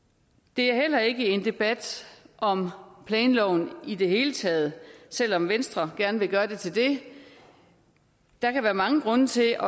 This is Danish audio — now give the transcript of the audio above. det er heller ikke en debat om planloven i det hele taget selv om venstre gerne vil gøre det til det der kan være mange grunde til